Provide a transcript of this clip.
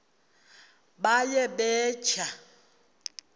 baye bee tyaa